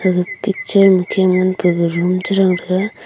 aga picture khe ngan room chibrang taiga.